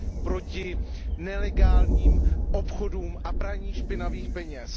proti nelegálním obchodům a praní špinavých peněz.